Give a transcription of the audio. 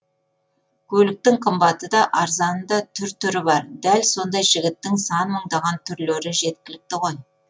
көліктің қымбаты да арзаны да түр түрі бар дәл сондай жігіттің сан мыңдаған түрлері жеткілікті ғой